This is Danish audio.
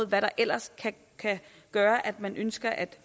hvad der ellers kan gøre at man ønsker at